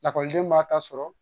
Lakɔliden b'a ta sɔrɔ